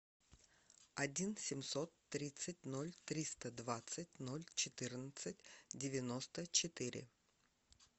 один семьсот тридцать ноль триста двадцать ноль четырнадцать девяносто четыре